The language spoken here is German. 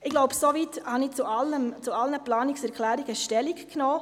Ich glaube, soweit habe ich zu allen Planungserklärungen Stellung genommen.